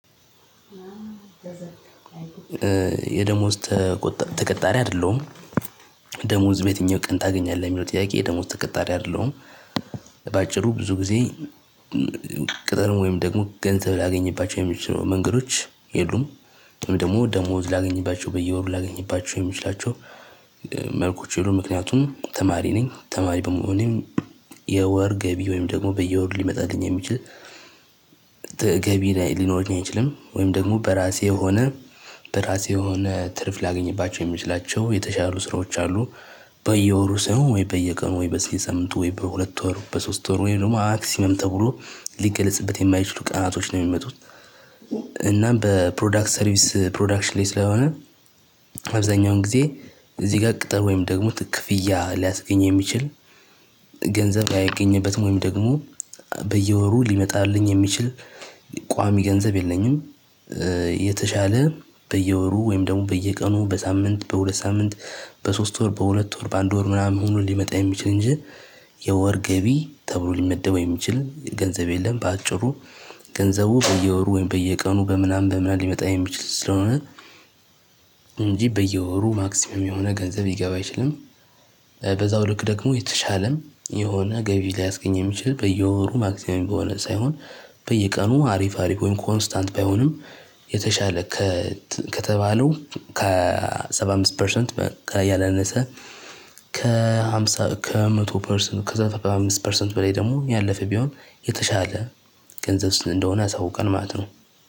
የደሞዝ ተቀጣሪ አይደለሁም። ደሞዝ በየትኛው ቀን ታገኛለህ? የሚለው ጥያቄ ደሞዝ ተቀጣሪ አይደለሁም። በአጭሩ ብዙ ጊዜ። ቅጠርም ወይም ደግሞ ገንዘብ ላገኝባቸው የሚችሉ መንገዶች የሉም። ደግሞ ደግሞ ላገኝባቸው በየወሩ ላገኝባቸው የሚችላቸው መልኮች የሉም። ምክንያቱም ተማሪ ነኝ ተማሪ በመሆኔም። የወር ገቢ ወይም ደግሞ በየወር ሊመጣልኝ የሚችል ገቢ ሊኖረኝ አይችልም። ወይም ደግሞ በራሴ የሆነ በራሴ የሆነ ትርፍ ላገኝባቸው የሚችላቸው የተሻሉ ስራዎች አሉ። በየወሩ ሰው ወይ በየቀኑ ወይ በየሳምንቱ ወይ በሁለት ወር በሶስት ወር ወይ ደግሞ አክሲመም ተብሎ ሊገለጽበት የማይችሉ ቀናቶች ነው የሚመጡት። እናም በፕሮዳክት ሰርቪስ ፕሮዳክሽን ላይ ስለሆነ። አብዛኛውን ጊዜ እዚህ ጋር ቅጥር ወይም ደግሞ ክፍያ ሊያስገኝ የሚችል ገንዘብ አይገኝበትም። ወይም ደግሞ በየወሩ ሊመጣልኝ የሚችል ቋሚ ገንዘብ የለኝም። የተሻለ በየወሩ ወይም ደግሞ በየቀኑ በሳምንት በሁለት ሳምንት በሶስት ወር በሁለት ወር በአንድ ወር ምናምን ሆኖ ሊመጣ የሚችል እንጂ የወር ገቢ ተብሎ ሊመደበው የሚችል ገንዘብ የለም። በአጭሩ ገንዘቡ በየወሩ ወይም በየቀኑ በምናምን በምናምን ሊመጣ የሚችል ስለሆነ እንጂ በየወሩ ማክሲመም የሆነ ገንዘብ ልገባ አይችልም። በዛው ልክ ደግሞ የተሻለም የሆነ ገቢ ሊያስገኝ የሚችል በየወሩ ማክሲመም በሆነ ሳይሆን። በየቀኑ አሪፍ አሪፍ ወይም ኮንስታንት ባይሆንም የተሻለ ከተባለው ከ ሰባ አምስት ፐርሰንት። ያላነሰ ከሃምሳ ከመቶ ፐርሰንት ከዛ ከሰባ አምስት ፐርሰንት በላይ ደግሞ ያለፈ ቢሆን የተሻለ ገንዘብ ስን እንደሆነ አሳውቀን ማለት ነው።